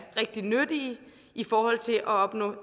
rigtig nyttige i forhold til at opnå